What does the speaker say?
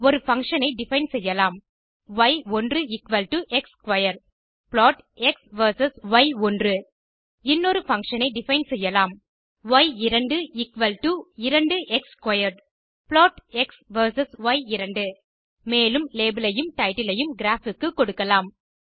ஒரு பங்ஷன் ஐ டிஃபைன் செய்யலாம் ய்1 x square plot x versus ய்1 இன்னொரு பங்ஷன் ஐ டிஃபைன் செய்யலாம் ய்2 2எக்ஸ் ஸ்க்வேர் ப்ளாட் எக்ஸ் வெர்சஸ் ய்2 மேலும் லேபல் ஐயும் டைட்டில் ஐயும் கிராப் க்கு கொடுக்கலாம்